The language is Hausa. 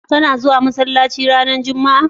ka na zuwa masallaci ranar jumma'a?